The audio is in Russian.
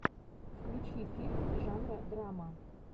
включи фильм жанра драма